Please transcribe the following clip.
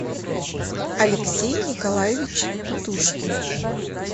алексей николаевич тутушкин